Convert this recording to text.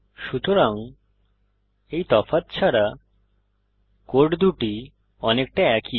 সুতরাং এই তফাৎ ছাড়া কোড দুটি অনেকটা একই